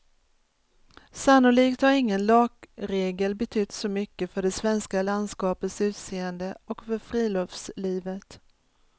Sannolikt har ingen lagregel betytt så mycket för det svenska landskapets utseende och för friluftslivet.